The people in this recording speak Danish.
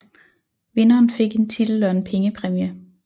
Vinderen fik en titel og en pengepræmie